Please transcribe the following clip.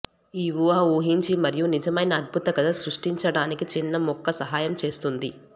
ఈ ఊహ ఊహించు మరియు నిజమైన అద్భుత కథ సృష్టించడానికి చిన్న ముక్క సహాయం చేస్తుంది